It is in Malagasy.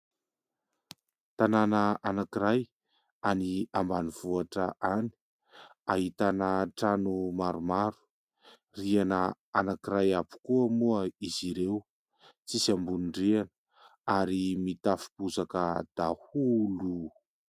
Tanàna anankiray any ambanivohitra any, ahitana trano maromaro, rihana anankiray avy koa moa izy ireo, tsy misy ambony rihana ary mitafo bozaka daholo.